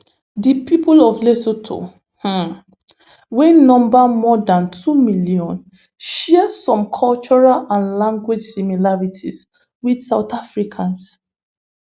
di pipo of lesotho um wey number more dan two million share some cultural and language similarities with south africans